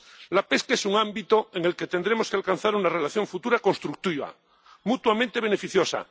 La pesca es un ámbito en el que tendremos que alcanzar una relación futura constructiva, mutuamente beneficiosa.